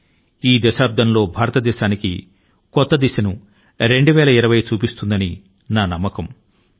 ఈ దశాబ్దం లోనే 2020 వ సంవత్సరం భారతదేశాని కి కొత్త మార్గాన్ని చూపుతుందన్న నమ్మకం నాలో ఉంది